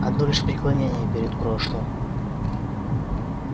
одно лишь преклонение перед прошлым